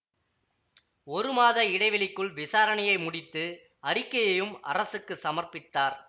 ஒரு மாத இடைவெளிக்குள் விசாரணையை முடித்து அறிக்கையையும் அரசுக்கு சமர்ப்பித்தார்